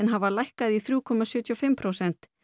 hafa lækkað í þrjú komma sjötíu og fimm prósent